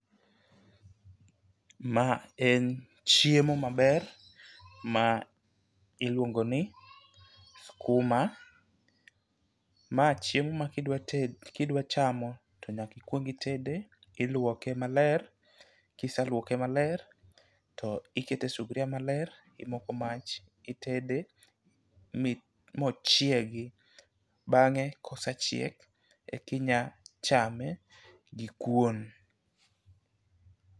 Ma en chiemo maber ma iluongo ni skuma .Ma chiemo ma kidwa kidwa chamo to nyaki kuong itede tiluoke maler kiseluoke maler tikete sufria maler imoko mach itede mochiegi. Bang'e kosechiek eki nya chame gi kuon.